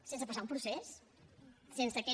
sense passar un procés sense aquests